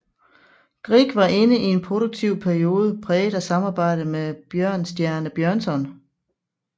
Grieg var inde i en produktiv periode præget af samarbejde med Bjørnstjerne Bjørnson